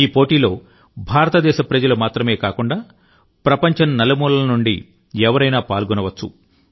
ఈ పోటీలో భారతదేశ ప్రజలు మాత్రమే కాకుండా ప్రపంచం నలుమూలల నుండి ఎవరైనా పాల్గొనవచ్చు